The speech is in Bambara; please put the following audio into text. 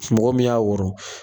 mɔgɔ min y'a wɔrɔ